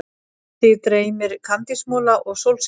Þig dreymir kandísmola og sólskin.